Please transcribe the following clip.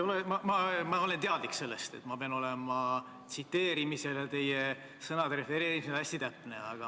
Ma olen teadlik sellest, et ma pean tsiteerimisel ja teie sõnade refereerimisel olema hästi täpne.